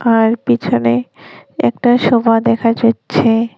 আর পেছনে একটা সোফা দেখা যাচ্ছে।